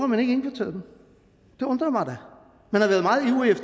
man ikke indkvarteret dem det undrer mig da